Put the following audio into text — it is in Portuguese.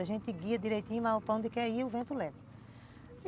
A gente guia direitinho para onde quer ir e o vento leva.